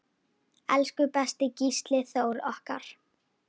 Elsku besti Gísli Þór okkar.